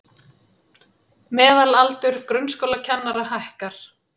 Meðalaldur grunnskólakennara hækkar